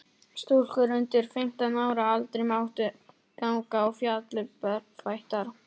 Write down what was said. Stúlkur undir fimmtán ára aldri máttu ganga á fjallið berfættar.